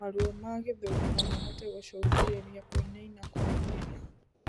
Maruo ma gĩthũri nomahote gũcũngĩrĩrĩa kuinanina kwa mwĩrĩ